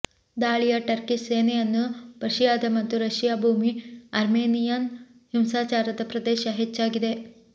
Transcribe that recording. ದಾಳಿಯ ಟರ್ಕಿಷ್ ಸೇನೆಯನ್ನು ಪರ್ಷಿಯಾದ ಮತ್ತು ರಶಿಯಾ ಭೂಮಿ ಅರ್ಮೇನಿಯನ್ ಹಿಂಸಾಚಾರದ ಪ್ರದೇಶ ಹೆಚ್ಚಾಗಿದೆ